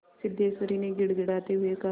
सिद्धेश्वरी ने गिड़गिड़ाते हुए कहा